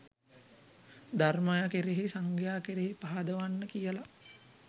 ධර්මය කෙරෙහි සංඝයා කෙරෙහි පහදවන්න කියලා.